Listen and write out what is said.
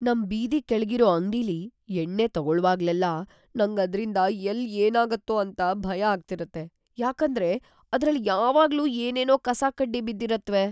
ನಮ್‌ ಬೀದಿ ಕೆಳ್ಗಿರೋ ಅಂಗ್ಡಿಲಿ ಎಣ್ಣೆ ತಗೊಳ್ವಾಗ್ಲೆಲ್ಲ ನಂಗ್‌ ಅದ್ರಿಂದ ಎಲ್ಲ್ ಏನಾಗತ್ತೋ ಅಂತ‌ ಭಯ ಆಗ್ತಿರತ್ತೆ, ಯಾಕಂದ್ರೆ ಅದ್ರಲ್ ಯಾವಾಗ್ಲೂ ಏನೇನೋ ಕಸಕಡ್ಡಿ ಬಿದ್ದಿರತ್ವೆ.